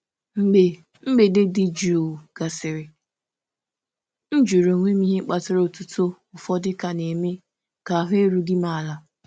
Mgbe mgbede dị jụụ gasịrị, m jụrụ onwe m ihe kpatara otuto ụfọdụ ka na-eme ka ahụ erughị m ala.